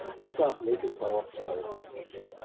जसा आपल्याकडे भावाचा भाव आहे